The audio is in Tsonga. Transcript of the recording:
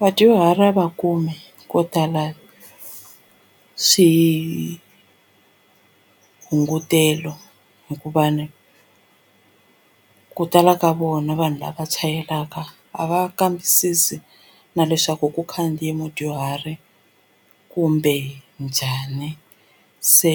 Vadyuhari a va kumi ko tala swihungutelo hikuva ni ku tala ka vona vanhu lava chayelaka a va kambisisi na leswaku ku khandziye mudyuhari kumbe njhani se